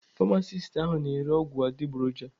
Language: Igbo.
Pamasist ahụ n' ere ọgwụ adịgboroja.